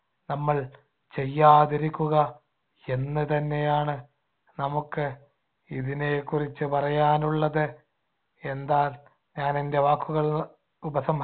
നമ്മൾ ചെയ്യാതിരിക്കുക എന്ന് തന്നെയാണ് നമുക്ക് ഇതിനെക്കുറിച്ചു പറയാനുള്ളത്. എന്താ ഞാൻ എന്‍ടെ വാക്കുകൾ ഉപസം